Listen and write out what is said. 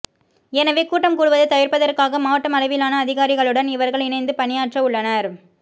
எனவே கூட்டம் கூடுவதை தவிர்ப்பதற்காக மாவட்ட அளவிலான அதிகாரிகளுடன் இவர்கள் இணைந்து பணியாற்றவுள்ளனர்